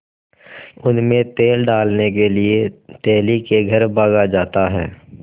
उनमें तेल डालने के लिए तेली के घर भागा जाता है